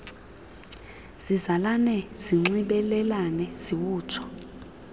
zizalane zinxibelelane ziwutsho